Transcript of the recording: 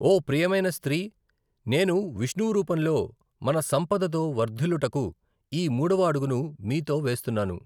ఓహ్! ప్రియమైన స్త్రీ, నేను, విష్ణువు రూపంలో, మన సంపదతో వర్ధిల్లుటకు ఈ మూడవ అడుగును మీతో వేస్తున్నాను.